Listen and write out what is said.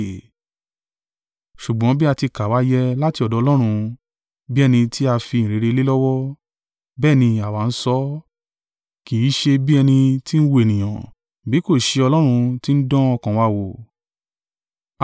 Ṣùgbọ́n bí a ti kà wá yẹ láti ọ̀dọ̀ Ọlọ́run, bí ẹni tí a fi ìyìnrere lé lọ́wọ́, bẹ́ẹ̀ ni àwa ń sọ, kì í ṣe bí ẹni tí ń wu ènìyàn, bí kò ṣe Ọlọ́run tí ń dán ọkàn wa wò.